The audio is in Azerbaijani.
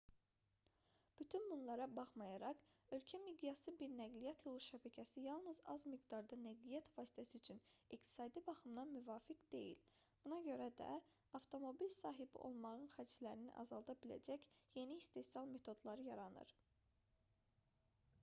bütün bunlara baxmayaraq ölkə miqyaslı bir nəqliyyat yolu şəbəkəsi yalnız az miqdarda nəqliyyat vasitəsi üçün iqtisadi baxımdan müvafiq deyil buna görə də avtomobil sahibi olmağın xərclərini azalda biləcək yeni istehsal metodları yaradılır